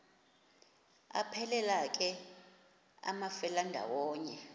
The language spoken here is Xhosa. aphelela ke amafelandawonye